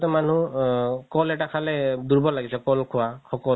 মানুহ আ ক'ল এটা খালে দুৰবল লাগিছে ক'ল খোৱা সকত